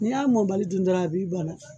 Ni y'a mɔ bali dun dɔrɔn a b'i bana